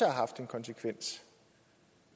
haft en konsekvens